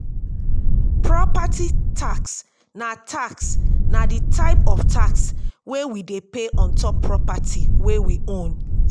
property tax na tax na di type of tax wey we dey pay ontop property wey we own